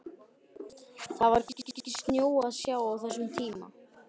Það var hvergi snjó að sjá á þessum tíma.